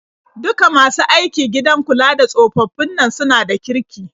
Duka masu aiki gidan kula da tsofaffin nan suna da kirki.